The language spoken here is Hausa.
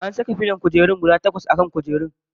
An saka filon kujeru guda takwas a kan kujerun.